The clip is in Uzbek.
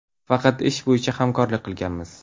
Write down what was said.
Faqat ish bo‘yicha hamkorlik qilganmiz.